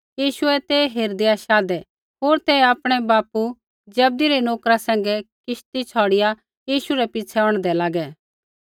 यीशुऐ ते हेरदैआऐ शाधै होर ते आपणै बापू जब्दी रै नोकरा सैंघै किश्ती छ़ौड़िआ यीशु रै पिछ़ै औंढदै लागै